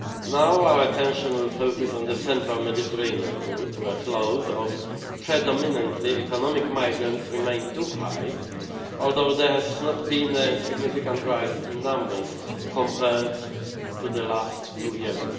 Now our attention will focus on the Central Mediterranean route, where flows of predominantly economic migrants remain too high, although there has not been a significant rise in numbers compared to the last two years.